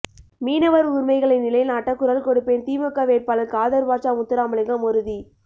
மீனவர் உரிமைகளை நிலைநாட்ட குரல் கொடுப்பேன் திமுக வேட்பாளர் காதர்பாட்சா முத்துராமலிங்கம் உறுதி